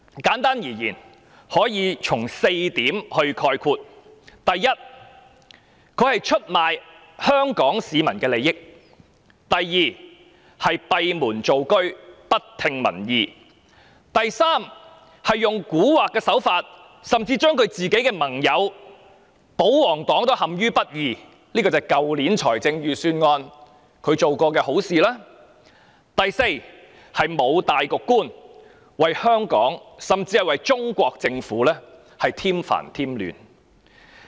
簡單而言，我以下列4點概括：第一，她出賣香港市民的利益；第二，她閉門造車，不聽民意；第三，她手法狡猾，甚至不惜讓盟友保皇黨陷於不義，所指的是她在去年財政預算案中所作的好事；第四，她沒有大局觀，為香港甚至為中國政府添煩添亂。